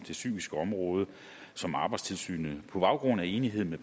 det psykiske område som arbejdstilsynet på baggrund af enighed med